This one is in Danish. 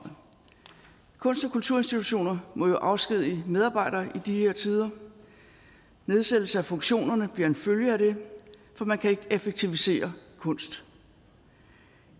kulturinstitutioner må jo afskedige medarbejdere i de her tider nedsættelse af funktionerne bliver en følge af det for man kan ikke effektivisere kunst